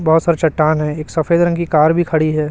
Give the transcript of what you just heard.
बहुत सारे चट्टान हैं एक सफेद रंग की कार भी खड़ी है।